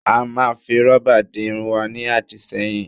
A máa fi rọ́bà di irun wa ní àdìṣẹ́yìn